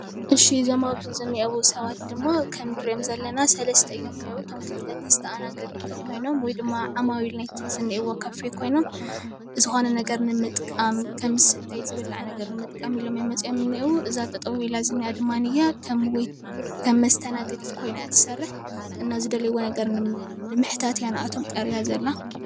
እዞም ሰባት ኣብ እዚ ምስሊ እንሪኦም ዘለና ድማ ሰለስተ ሰባት እዮም ዝነሄዉ፡፡ እቶም ወይ ድማ ማዊል ናይቲ ካፌ ኮይኖም ዝኮነ ነገር ንምጥቃም ዝብላዕ ዝስተይ ንምጥቃም ኢሎም እዮም መፅኦም ዝንሄዉ፡፡ እዛ ጠጠው ኢላ ዝንሃ ድማ ከም መስተናገዲት ኮይና እያ እትሰርሕ እና ንዝደለይዎ ነገር ንምሕታት እያ ቀሪባ ዘላነ ።